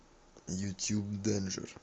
ютуб дэнжер